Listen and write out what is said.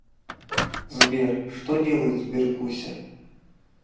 сбер что делает сберкуся